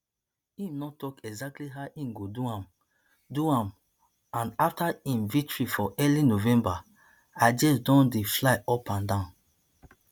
im no tok exactly how im go do am do am and afta im victory for early november ideas don dey fly upanda